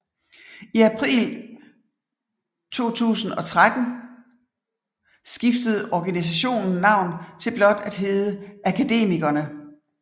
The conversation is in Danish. I april 2013 skiftede organisationen navn til blot at hedde Akademikerne